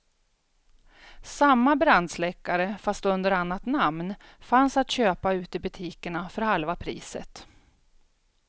Samma brandsläckare, fast under annat namn, fanns att köpa ute i butikerna för halva priset.